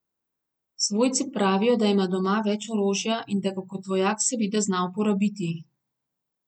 Svojci pravijo, da ima doma več orožja in da ga kot vojak seveda zna uporabiti.